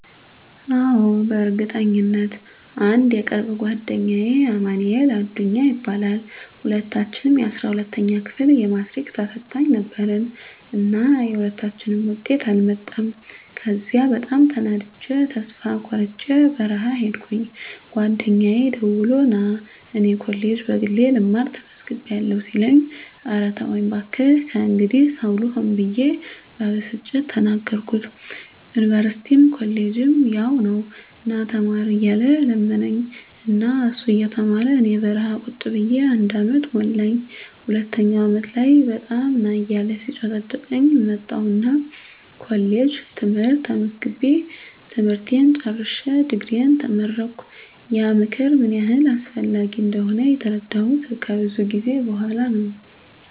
አዎ፣ በእርግጠኝነት! *አንድ የቅርብ ጓደኛዬ አማንኤል አዱኛ ይባላል፦ *ሁለታችንም የ12ኛ ክፍል የማትሪክ ተፈታኝ ነበርን እና የሁለታችንም ውጤት አልመጣም ከዚያ በጣም ተናድጀ ተስፋ ቆርጨ በረሀ ሂድኩኝ ጓደኛየ ደውሎ ና እኔ ኮሌጅ በግሌ ልማር ተመዝግቢያለሁ ሲለኝ እረ ተወኝ ባክህ ከእንግዲህ ሰው ልሆን ብየ በብስጭት ተናገርኩት ዩኒቨርስቲም ኮሌጅም ያው ነው ና ተማር እያለ ለመነኝ እና እሱ እየተማረ እኔ በረሀ ቁጭ ብየ አንድ አመት ሞላኝ ሁለተኛው አመት ላይ በጣም ና እያለ ሲጨቀጭቀኝ መጣሁና ኮሌጅ ትምህርት ተመዝግቤ ትምህርቴን ጨርሸ ድግሪየን ተመረቀሁ። *ያ ምክር ምን ያህል አስፈላጊ እንደሆነ የተረዳሁት ከብዙ ጊዜ በኋላ ነው።